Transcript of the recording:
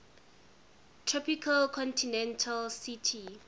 tropical continental ct